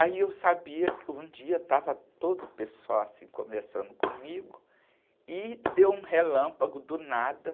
Aí eu sabia que um dia estava todo o pessoal, assim, conversando comigo e deu um relâmpago do nada.